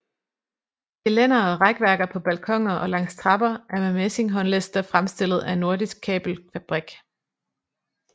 Gelænder og rækværker på balkoner og langs trapper er med messing håndlister fremstillet af Nordisk Kabelfabrik